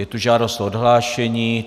Je tu žádost o odhlášení.